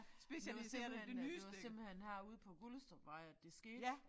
Det var simpelthen øh det var simpelthen herude på Gullestrupvej at det skete